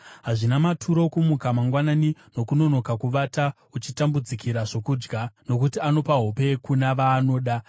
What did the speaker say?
Hazvina maturo kumuka mangwanani nokunonoka kuvata, uchitambudzikira zvokudya, nokuti anopa hope kuna vaanoda.